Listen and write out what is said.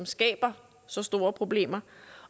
skaber så store problemer